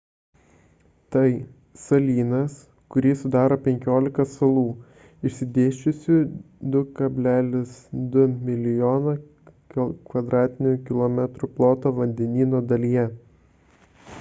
tai – salynas kurį sudaro 15 salų išsidėsčiusių 2,2 mln km2 ploto vandenyno dalyje